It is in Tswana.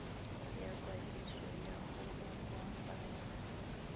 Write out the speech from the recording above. ya kwadiso ya go opafatsa